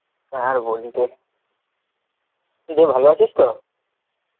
আর বলি দিয়ে ভালো আছিস তো?